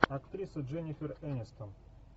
актриса дженифер энистон